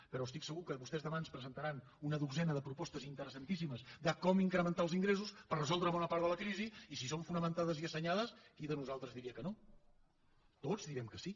però estic segur que vostès demà ens presentaran una dotzena de propostes interessantíssimes de com incrementar els ingressos per resoldre bona part de la crisi i si són fonamentades i assenyades qui de nosaltres diria que no tots direm que sí